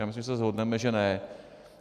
Já myslím, že se shodneme, že ne.